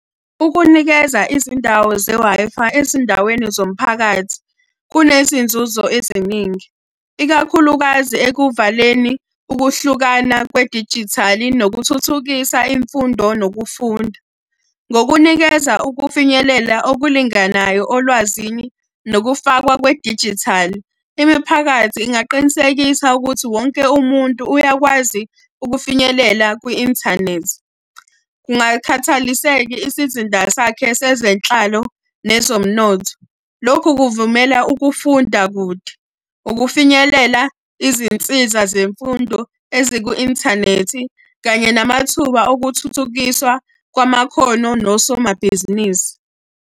Ukunikeza izindawo ze-Wi-Fi ezindaweni zomphakathi, kunezinzuzo eziningi, ikakhulukazi ekuvaleni ukuhlukana kwedijithali nokuthuthukisa imfundo nokufunda. Ngokunikeza ukufinyelela okulinganayo olwazini nokufakwa kwedijithali, imiphakathi ingaqinisekisa ukuthi wonke umuntu uyakwazi ukufinyelela kwi-inthanethi. Kungakhathaliseki isizinda sakhe zezenhlalo nezomnotho. Lokhu kuvumela ukufunda kude, ukufinyelela izinsiza zemfundo eziku-inthanethi, kanye namathuba okuthuthukiswa kwamakhono nosomabhizinisi.